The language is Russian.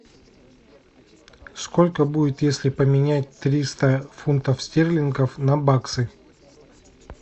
сколько будет если поменять триста фунтов стерлингов на баксы